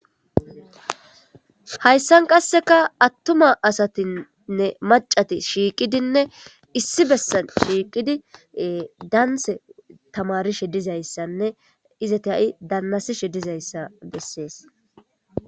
hayssan qasseka attuma asatinnne macati shiiqidinne issi bessan shiiqidi daanse tamarishe dizayssanne izati ha7i daannasishe dizayssa bessees